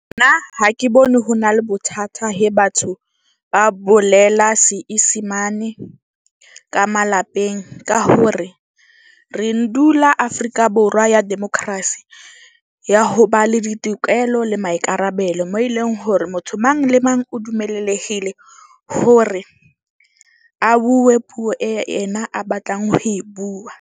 Nna ha ke bone ho na le bothata he batho ba bolela seisimane ka malapeng ka hore re ndula Afrika Borwa ya democracy, ya ho ba le ditokelo le maikarabelo mo e leng hore motho mang le mang o dummelehile hore a bue puo e ena a batlang ho e bua.